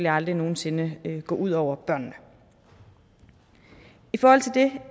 aldrig nogen sinde gå ud over børnene i forhold til det